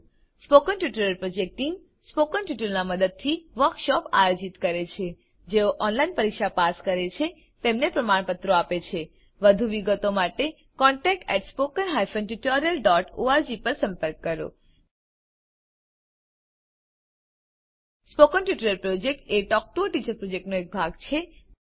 spoken tutorial project team spoken ટ્યુટોરીયલોનાં મદદથી વર્કશોપોનું આયોજન કરે છે જેઓ ઓનલાઈન પરીક્ષા પાસ કરે છે તેમને પ્રમાણપત્રો આપે છે વધુ વિગત માટે contact at spoken hyphen tutorial dot org પર સંપર્ક કરો સ્પોકન ટ્યુટોરીયલ પ્રોજેક્ટ એ ટોક ટુ અ ટીચર પ્રોજેક્ટનો એક ભાગ છે